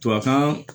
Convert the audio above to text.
Tubabuan